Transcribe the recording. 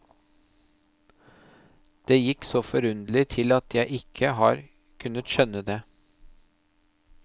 Det gikk så forunderlig til at jeg ikke har kunnet skjønne det.